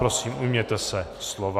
Prosím, ujměte se slova.